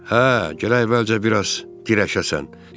Hə, gərək əvvəlcə biraz dirəşəsən.